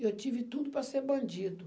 Eu tive tudo para ser bandido.